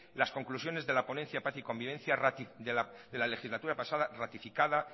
las conclusiones de la ponencia paz y convivencia de la legislatura pasada ratificada